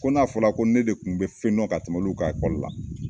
Ko n'a fɔla ko ne de kun be fɛn dɔn ka tɛmɛ olu kan ekɔli la